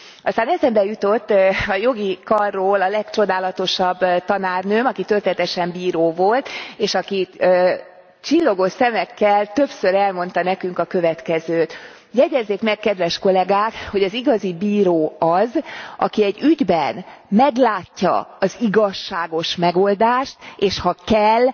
Aztán eszembe jutott a jogi karról a legcsodálatosabb tanárnőm, aki történetesen bíró volt, és aki csillogó szemekkel többször elmondta nekünk a következőt jegyezzék meg kedves kollégák, hogy az igazi bíró az, aki egy ügyben meglátja az igazságos megoldást, és ha kell